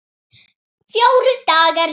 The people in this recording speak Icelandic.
Fjórir dagar liðu.